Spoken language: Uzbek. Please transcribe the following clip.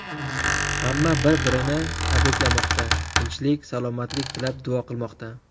Hamma bir-birini tabriklamoqda, tinchlik, salomatlik tilab duo qilmoqda.